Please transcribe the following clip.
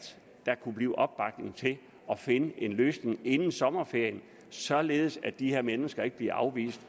der kan blive opbakning til at finde en løsning inden sommerferien således at de her mennesker ikke bliver afvist